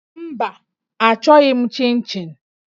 Mba, achọghị m chịn chịn